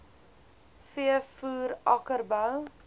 v voer akkerbou